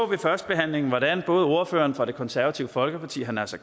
ved førstebehandlingen hvordan både ordføreren fra det konservative folkeparti herre naser